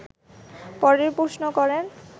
পরের প্রশ্ন করেন